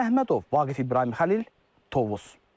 Ruslan Əhmədov, Vaqif İbrahimxəlil, Tovuz.